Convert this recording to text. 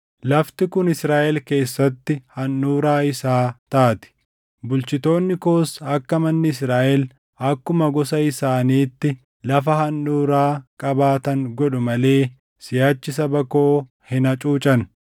Lafti kun Israaʼel keessatti handhuuraa isaa taati. Bulchitoonni koos akka manni Israaʼel akkuma gosa isaaniitti lafa handhuuraa qabaatan godhu malee siʼachi saba koo hin hacuucan.